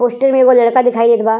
Poster में एगो लड़का दिखाई देत बा।